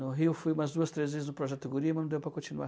No Rio fui umas duas, três vezes no Projeto Guri, mas não deu para continuar.